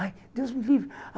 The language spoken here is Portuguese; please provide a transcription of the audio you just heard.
Ai, Deus me livre.